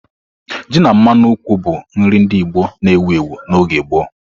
Ji na mmanu nkwụ bụ nri ndị Igbo na-ewu ewu n'oge gboo.